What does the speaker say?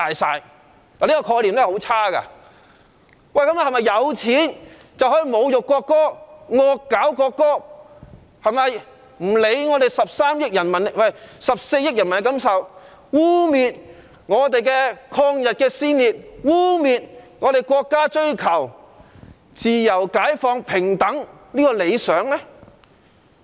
是否有錢，便可以侮辱國歌，"惡搞"國歌，不用理會14億人民的感受，污衊抗日先烈，污衊國家追求自由、解放、平等的理想？